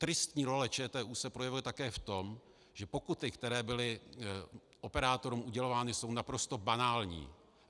Tristní role ČTÚ se projevuje také v tom, že pokuty, které byly operátorům udělovány, jsou naprosto banální.